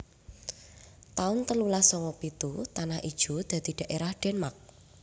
taun telulas sanga pitu Tanah Ijo dadi dhaerah Denmark